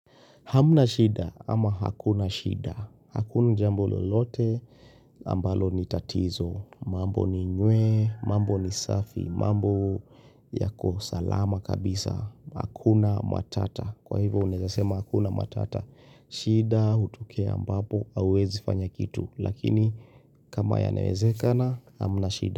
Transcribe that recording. Hamna shida ama hakuna shida. Hakuna jambo lolote ambalo ni tatizo. Mambo ni nywee, mambo ni safi, mambo yako salama kabisa. Hakuna matata. Kwa hivo unezasema hakuna matata. Shida utokea ambapo hauwezi fanya kitu. Lakini kama yanawezekana hamna shida.